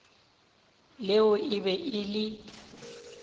leo e be e le